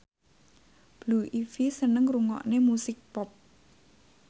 Blue Ivy seneng ngrungokne musik pop